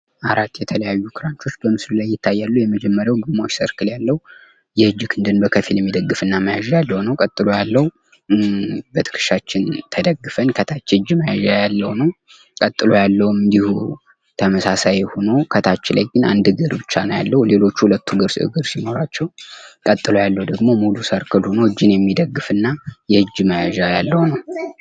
አራት የተለያዩ ክራንቾች በምስሉ ላይ ይታያሉ። የመጀመሪያው ግማሽ ሰርክል ያለው የእጅ ክንድን በከፊል የሚደግፍና መያዣ ነው። ቀጥሎ ያለው በትከሻችን ተደግፈን ከታች የእጅ መያዣ ያለው ነው። ቀጥሎ ያለው እንድሁ ተመሳሳይ ሁኖ ከታች ላይ አንድ እግር ብቻ ነው ያለው። ሌሎቹ ሁለት ሁለት እግር ሲኖራቸው ቀጥሎ ያለው ደግሞ ሙሉ ሰርክል ሁኖ እጅን የሚደግፍና የእጅ መያዣ ያለው ነው።